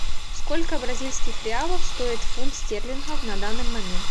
сколько бразильских реалов стоит фунт стерлингов на данный момент